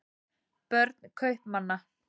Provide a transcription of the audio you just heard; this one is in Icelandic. börn kaupmanna